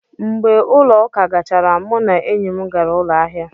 Mgbe ụlọ ụka gachara, mụ na enyi m gara ụlọ ahịa